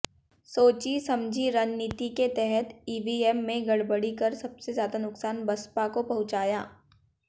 सोची समझी रणनीति के तहत ईवीएम में गड़बड़ी कर सबसे ज्यादा नुकसान बसपा को पहुंचाया